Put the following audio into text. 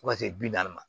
Fo ka se bi naani ma